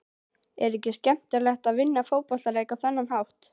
Er ekki skemmtilegast að vinna fótboltaleiki á þennan hátt?